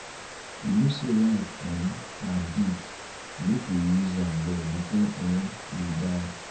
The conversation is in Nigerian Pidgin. you know sey life um na gift make we use um am well before um you die.